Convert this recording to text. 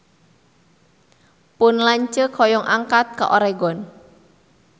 Pun lanceuk hoyong angkat ka Oregon